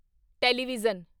television